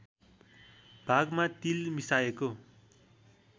भागमा तिल मिसाएको